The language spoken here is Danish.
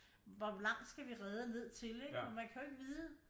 Hvor langt skal vi redde ned til ikke men man kan jo ikke vide